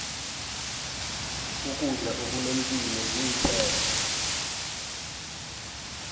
ukudla okunepilo zinthelo